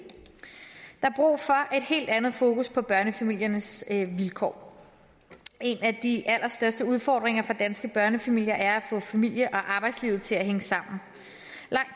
helt andet fokus på børnefamiliernes vilkår en af de allerstørste udfordringer for danske børnefamilier er at få familie og arbejdslivet til at hænge sammen